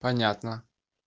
понятно